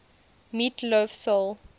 meat loaf soul